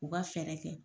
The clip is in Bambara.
U ka fɛɛrɛ kɛ